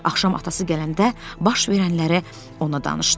Axşam atası gələndə baş verənləri ona danışdı.